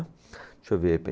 Deixa eu ver.